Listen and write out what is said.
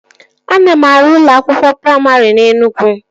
Ana m arụ ụlọ akwụkwọ praimarị na Enugwu